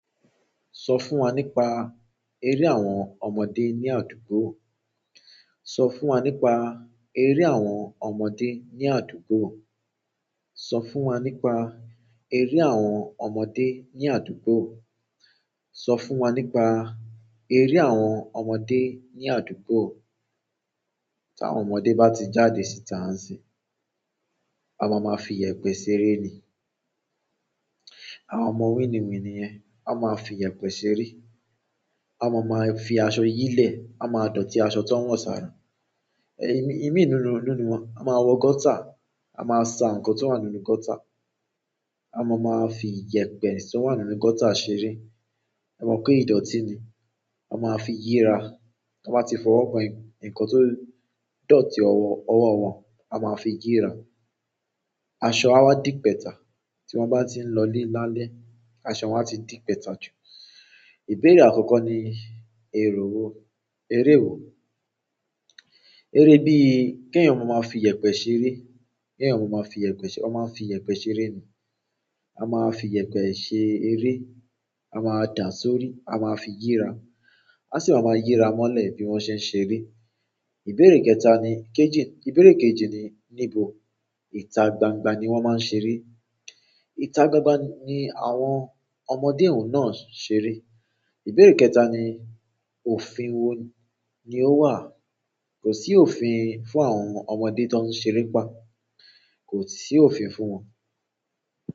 Sọ fún wa nípa eré àwọn ọmọdé ní àdúgbò. Sọ fún wa nípa eré àwọn ọmọdé ní àdúgbò. Sọ fún wa nípa eré àwọn ọmọdé ní àdúgbò. Sọ fún wa nípa eré àwọn ọmọdé ní àdúgbò. Ti àwọn ọmọdé ba ti jáde si ta nsinyi, won maa maa fi iyepe ṣeré ni àwọn ọmọ wíni wíni yẹn, a máa fi iyẹ̀pẹ̀ ṣeré. A máa máa fi aṣọ yí lẹ̀, a máa dọ̀tí aṣọ tó ń wọ̀ sára, ẹ́, ìmí-ìmí nínú, nínú wọn. A máa wọ gọ́tà, a máa sa ǹkan tó wà nínú gọ́tà, a máa máa fi iyẹ̀pẹ̀ tí ó wà nínú gọ́tà ṣeré. A mọ̀ pé ìdọ̀tí ni. A máa fi yíra. Tọ́n bá ti fọwọ́ kan ǹkan tó dọ̀tí ọwọ́, ọwọ́ wọn, a máa fi yíra. Aṣọ a wá dìpẹ́ta. Tí wọ́n bá ti ń lọ le lálẹ́, aṣọ wọn á ti dìpẹ́ta jù. Ìbéèrè àkọ́kọ́ ni èrò ó, eré wo? Re bíi ki eyan maa fi iyepe ṣeré kí ẹ̀yan maa máa fi iyẹ̀pẹ̀ ṣ- wọ́n máa ń fi iyẹ̀pẹ̀ ṣeré ni. A máa fi iyẹ̀pẹ̀ ṣe eré, a máa dàa sórí, a máa fi yíra. A sì máa máa yíra mọ́lẹ̀ bí wọ́n ṣe ń ṣeré. Ìbéèrè kẹta ni, kejì, ìbéèrè kejì ni níbo ìta gbangba ni wọ́n máa ń ṣeré? Ìta gbangba ni àwọn ọmọdé ẹ̀wọ̀n náà ń ṣeré. Ìbéèrè kẹta ni òfin wo ni ó wà? Kò sí òfin fún àwọn ọmọdé tó ń ṣeré pa. Kò sì òfin fún wọn.